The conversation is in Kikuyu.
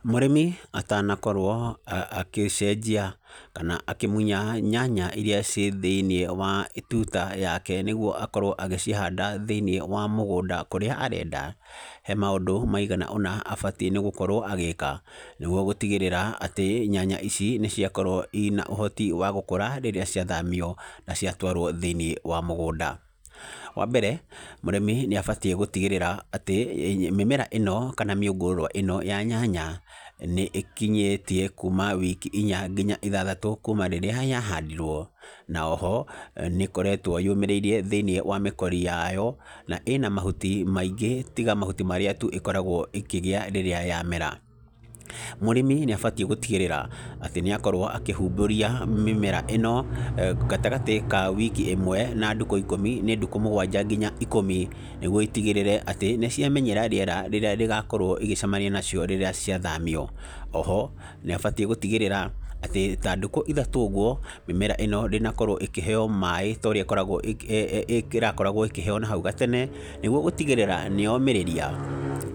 Mũrĩmi atanakorwo akĩcenjia kana akĩmunya nyanya irĩa ciĩ thĩiniĩ wa tuta yake nĩguo akorwo agĩcihanda thĩiniĩ wa mũgũnda kũrĩa arenda, he maũndũ maigana ũna abatiĩ nĩ gũkorwo agĩĩka. Nĩguo gũtigĩrĩra atĩ, nyanya ici nĩ ciakorwo ina ũhoti wa gũkũra rĩrĩa ciathamio na ciatwarwo thĩiniĩ wa mũgũnda. Wa mbere, mũrĩmi nĩ abatiĩ gũtigĩrĩra atĩ, mĩmera ĩno kana mĩũngũrwa ĩno ya nyanya, nĩ ĩkinyĩtie kuuma wiki inya nginya ithathatũ kuuma rĩrĩa yahandirwo. Na oho, nĩ ĩkoretwo yũmĩrĩirie thĩiniĩ wa mĩkori ya yo, na ĩna mahuti maingĩ tiga mahuti marĩa tu ĩkoragwo ĩkĩgĩa rĩrĩa yamera. Mũrĩmi nĩ abatiĩ gũtigĩrĩra, atĩ nĩ akorwo akĩhumbũria mĩmera ĩno, gatagatĩ ka wiki ĩmwe na ndukũ ikũmi nĩ ndukũ mũgwanja nginya ikũmi, nĩguo itigĩrĩre atĩ nĩ ciamenyera rĩera rĩrĩa rĩgakorwo ĩgĩcemania nacio rĩrĩa ciathamio. Oho, nĩ abatiĩ gũtigĩrĩra atĩ, ta ndukũ ithatũ ũguo, mĩmera ĩno ndĩnakorwo ĩkĩheeo maĩ ta ũrĩa ĩkoragwo eeh ĩrakoragwo ĩkĩheeo nahau gatene, nĩguo gũtigĩrĩra nĩ yomĩrĩria.